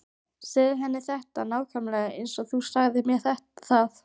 Segðu henni þetta nákvæmlega eins og þú sagðir mér það.